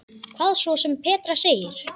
Hvað svo sem Petra segir.